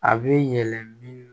A bɛ yɛlɛ min